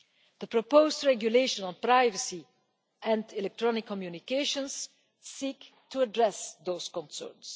The proposed regulations on privacy and electronic communications seek to address those concerns.